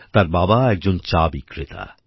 তার বাবা একজন চা বিক্রেতা